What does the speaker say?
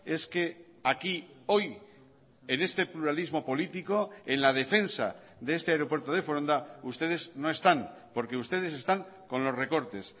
es que aquí hoy en este pluralismo político en la defensa de este aeropuerto de foronda ustedes no están porque ustedes están con los recortes